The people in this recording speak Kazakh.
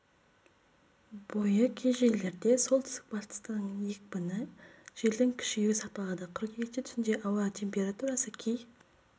бойы кей жерлерде солтүстік-батыстан екпіні с-ке дейін желдің күшеюі сақталады қыркүйекте түнде ауа температурасы кей